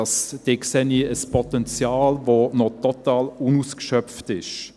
Darin sehe ich ein Potenzial, das noch total unausgeschöpft ist.